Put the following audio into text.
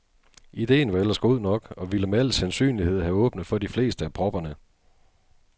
Idéen var ellers god nok og ville med al sandsynlighed have åbnet for de fleste af propperne.